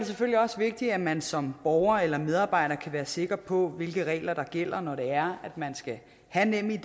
selvfølgelig også vigtigt at man som borger eller medarbejder kan være sikker på hvilke regler der gælder når det er at man skal have nemid